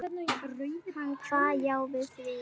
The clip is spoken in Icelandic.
Hann kvað já við því.